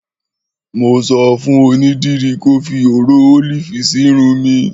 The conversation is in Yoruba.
Mò sọ̀fún ònídìrì kọ̀ fí ọ̀rọ̀ olifi sì írùn mí